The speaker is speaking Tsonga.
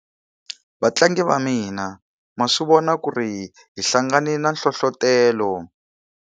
Vatlangi va mina ma swi vona ku ri hi hlangane na nhlohletelo.